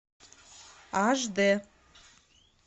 аш дэ